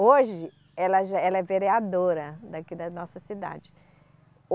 Hoje ela já, ela é vereadora daqui da nossa cidade.